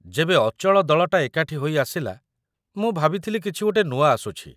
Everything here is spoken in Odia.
ଯେବେ ଅଚଳ ଦଳଟା ଏକାଠି ହୋଇ ଆସିଲା, ମୁଁ ଭାବିଥିଲି କିଛି ଗୋଟେ ନୂଆ ଆସୁଛି...